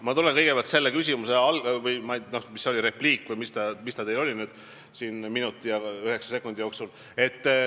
Ma tulen kõigepealt küsimuse alguse juurde, repliik või mis ta teil siin oli minuti ja üheksa sekundi jooksul.